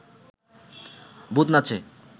ভূত নাচে